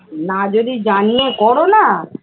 না যদি জানিয়ে করো না